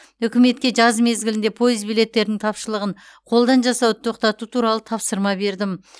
үкіметке жаз мезгілінде пойыз билеттерінің тапшылығын қолдан жасауды тоқтату туралы тапсырма бердім